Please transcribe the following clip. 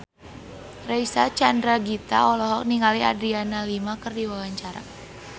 Reysa Chandragitta olohok ningali Adriana Lima keur diwawancara